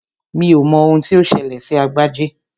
Mi ò mọ ohun tí ó ṣẹlẹ̀ sí Agbájé